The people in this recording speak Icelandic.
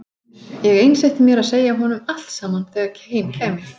Ég einsetti mér að segja honum allt saman þegar heim kæmi.